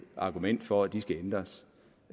argument for at de skal ændres